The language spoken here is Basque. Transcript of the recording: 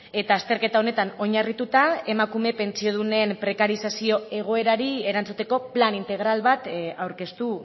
eta azterketa honetan oinarrituta emakume pentsiodunen prekarizazio egoerari erantzuteko plan integral bat aurkeztu